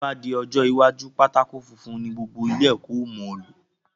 Tí o ba di ọjọ́ iwájú, pátákó funfun ni gbogbo ilé ẹ̀kọ́ o mo lò